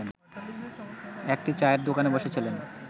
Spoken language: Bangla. একটি চায়ের দোকানে বসেছিলেন